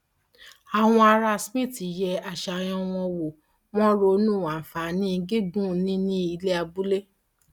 àwọn ará smith yẹ àṣàyàn wọn wò wọn ronú àǹfààní gígùn níní ilẹ abúlé